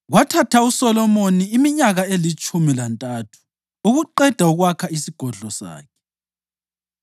Kwathatha uSolomoni iminyaka elitshumi lantathu ukuqeda ukwakha isigodlo sakhe.